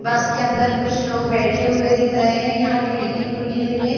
बस के अंदर कुछ लोग बैठे हुए दिख रहे हैं यहां खिड़की खुली हुई है।